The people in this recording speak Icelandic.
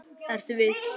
Ertu viss?